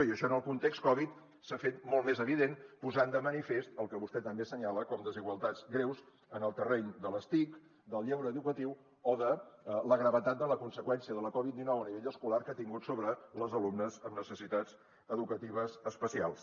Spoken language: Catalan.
i això en el context covid s’ha fet molt més evident posant de manifest el que vostè també assenyala com desigualtats greus en el terreny de les tic del lleure educatiu o de la gravetat de la conseqüència de la covid dinou a nivell escolar que ha tingut sobre les alumnes amb necessitats educatives especials